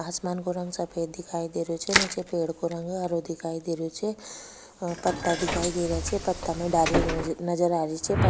आसमान को रंग सफ़ेद दिखाई दे रहे छे निचे पेड़ को रंग हरो दिखाई दे रहो छे पत्ता दिखाई दे रहे छे पत्ता में डाली नजर आ रही छे।